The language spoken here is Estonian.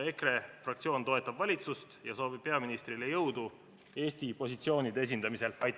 EKRE fraktsioon toetab valitsust ja soovib peaministrile jõudu Eesti positsioonide esindamisel!